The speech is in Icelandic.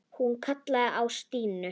Hún kallaði á Stínu.